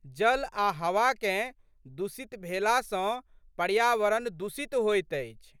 जल आ' हवाकेँ दूषित भेला सँ पर्यावरण दूषित होइत अछि।